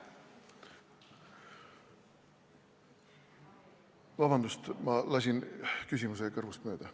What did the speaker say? Vabandust, ma lasin küsimuse kõrvust mööda.